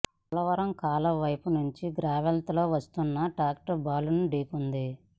పోలవరం కాలువ వైపు నుంచి గ్రావెల్తో వస్తున్న ట్రాక్టర్ బాలుడిని ఢీకొంది